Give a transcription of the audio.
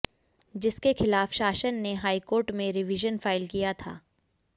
जिसके खिलाफ शासन ने हाईकोर्ट में रिवीजन फाइल किया था